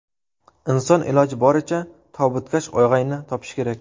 Inson iloji boricha tobutkash og‘ayni topishi kerak.